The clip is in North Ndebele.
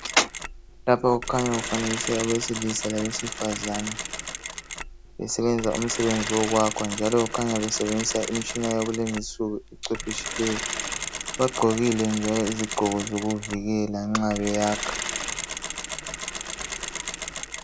lapha kukhanya kufanekiswe abesilisa labesifazana besebenza umsebenzi wokwakha njalo kukhanya besebenzisa imitshina yakulezinsuku ecwephetshileyo bagqokile njalo izigqoko zokuvikela nxa beyakha